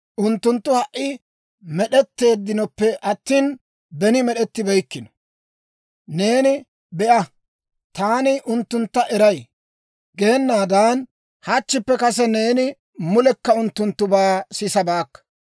Unttunttu ha"i med'etteeddinoppe attina, beni med'ettibeykkino. Neeni, ‹Be'a, taani unttuntta eray› geenaadan, hachchippe kase neeni mulekka unttunttubaa sisabaakka.